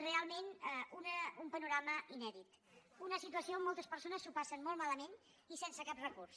realment un panorama inèdit una situació on moltes persones s’ho passen molt malament i sense cap recurs